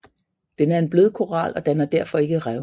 Den er en blødkoral og danner derfor ikke rev